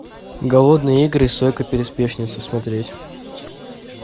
голодные игры сойка пересмешница смотреть